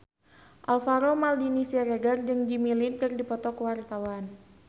Alvaro Maldini Siregar jeung Jimmy Lin keur dipoto ku wartawan